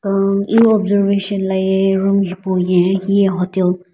iwu observation la ye room hipau ye hiye hotel .